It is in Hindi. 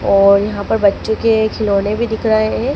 और यहां पर बच्चों के खिलौने भी दिख रहा है।